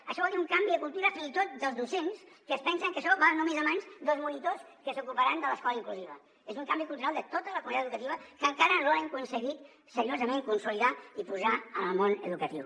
això vol dir un canvi de cultura fins i tot dels docents que es pensen que això va només a mans dels monitors que s’ocuparan de l’escola inclusiva és un canvi cultural de tota la comunitat educativa que encara no hem aconseguit seriosament consolidar ni posar en el món educatiu